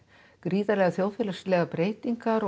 gríðarlegar þjóðfélagslegar breytingar